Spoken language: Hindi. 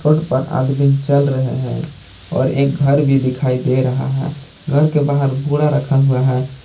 रोड पर आदमी चल रहे हैं और एक घर भी दिखाई दे रहा है घर के बाहर बोरा रखा हुआ है।